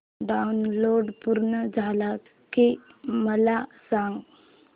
download पूर्ण झालं की मला सांग